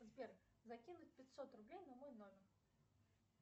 сбер закинуть пятьсот рублей на мой номер